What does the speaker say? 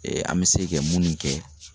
an bɛ se kɛ minnu kɛ